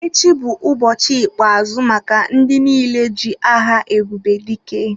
Echi bụ ụbọchị ikpe-azụ maka ndị niile ji aha Ebubedike.